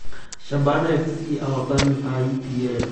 Shabana Fc ahotani a EPL